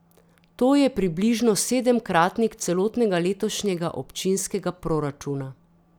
To je približno sedemkratnik celotnega letošnjega občinskega proračuna.